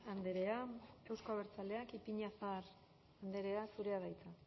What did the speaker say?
andrea euzko abertzaleak ipiñazar andrea zurea da hitza